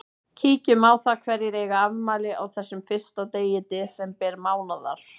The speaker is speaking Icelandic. Kíkjum á það hverjir eiga afmæli á þessum fyrsta degi desember mánaðar.